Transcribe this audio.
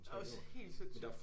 Det også helt sindssygt